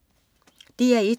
DR1: